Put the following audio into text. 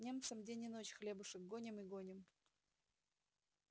немцам день и ночь хлебушек гоним и гоним